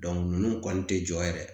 ninnu kɔni tɛ jɔ yɛrɛ